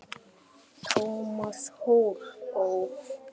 Thomas hló.